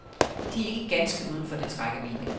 De er ikke ganske uden for dets rækkevidde.